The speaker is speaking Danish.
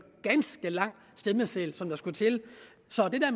ganske lang stemmeseddel der skulle til så